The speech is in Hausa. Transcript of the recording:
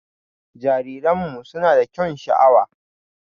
Jariranmu suna da kyaun sha'awa.